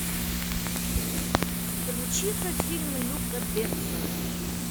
включи ка фильм люка бессона